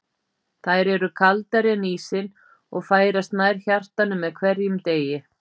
Þær eru kaldari en ísinn, og færast nær hjartanu með hverjum degi.